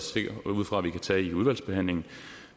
ud fra at vi kan tage under udvalgsbehandlingen